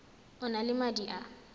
o na le madi a